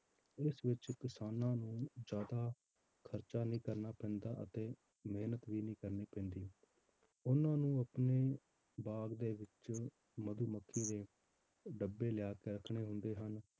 ਇਸ ਵਿੱਚ ਕਿਸਾਨਾਂ ਨੂੰ ਜ਼ਿਆਦਾ ਖ਼ਰਚਾ ਨਹੀਂ ਕਰਨਾ ਪੈਂਦਾ ਅਤੇ ਮਿਹਨਤ ਵੀ ਨੀ ਕਰਨੀ ਪੈਂਦੀ ਉਹਨਾਂ ਨੂੰ ਆਪਣੇ ਬਾਗ਼ ਦੇ ਵਿੱਚ ਮਧੂਮੱਖੀ ਦੇ ਡੱਬੇ ਲਿਆ ਕੇ ਰੱਖਣੇ ਹੁੰਦੇ ਹਨ,